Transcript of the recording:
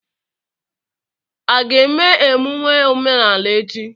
A ga-eme emume omenala echi?